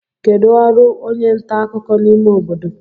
kedu ọrụ onye nta akụkọ n'ime obodo